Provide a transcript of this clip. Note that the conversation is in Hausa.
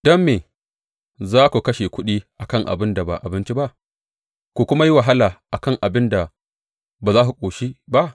Don me za ku kashe kuɗi a kan abin da ba abinci ba, ku kuma yi wahala a kan abin da ba za ku ƙoshi ba?